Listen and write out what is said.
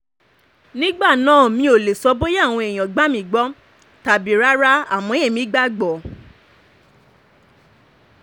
nígbà náà mi ò lè sọ bóyá àwọn èèyàn gbà mí gbọ́ tàbí rárá àmọ́ èmi gbàgbọ́